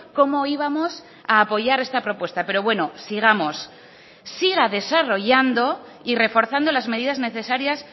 cómo íbamos a apoyar esta propuesta pero bueno sigamos siga desarrollando y reforzando las medidas necesarias